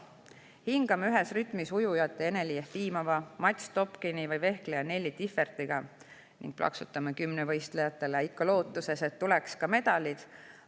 Hingame ühes rütmis ujujate Eneli Jefimova ja Matz Topkiniga või vehkleja Nelli Differtiga ning plaksutame kümnevõistlejatele, ikka lootuses, et tuleks ka medalid.